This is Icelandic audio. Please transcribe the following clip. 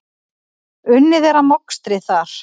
Unnið er að mokstri þar.